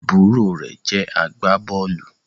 àbúrò rẹ̀ jẹ́ agbábọ́ọ̀lù